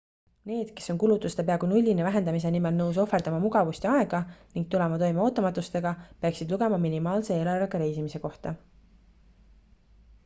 need kes on kulutuste peaaegu nullini vähendamise nimel nõus ohverdama mugavust ja aega ning tulema toime ootamatustega peaksid lugema minimaalse eelarvega reisimise kohta